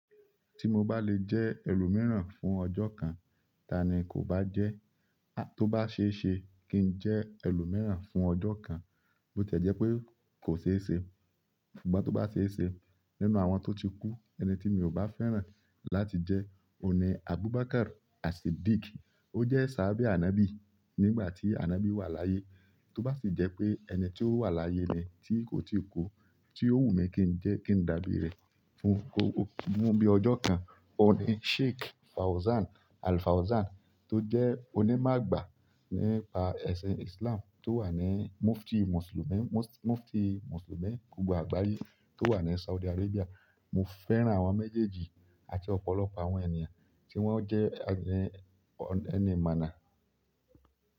Tí mo bá lè jẹ́ ẹlòmíràn fún ọjọ́ kan, taàní kò bá jẹ́? Tó bá ṣe é ṣe kí n jẹ́ ẹlòmíràn fún ọjọ́ kan, bó ti ẹ jẹ́ pé kò ṣe é ṣe, ṣùgbọ́n tó bá ṣe é ṣe, nínú àwọn tó ti kú, ẹni tí mi ò bá fẹ́ràn láti jẹ́, oun ní Abubakar As-Siddeeq. Ó jẹ́ ṣahabe Anọbi nígbà tí Anọbi wà láyé. Tó bá sì jẹ́ pé ẹni tí ó wà láyé ni tí kò ti kú, tí ó wù mí kí n jẹ́ kí n dàbí rẹ̀ fún ko-- fún bí i ọjọ́ kan, òní Sheikh Fauzan Al-Fauzan tó jẹ́ onímọ̀ àgbà nípa ẹ̀sìn Islam tó wà ní Mufti Mùsùlùmí, Mufti Mùsùlùmí gbogbo àgbáyé tó wà ní Saudi Arabia. Mo fẹ́ràn àwọn méjèèjì àti ọ̀pọ̀lọpọ̀ àwọn ènìyàn ti wọn jẹ ẹni imọna.